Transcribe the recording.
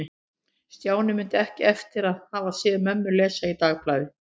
Stjáni mundi ekki eftir að hafa séð mömmu lesa í dagblaði.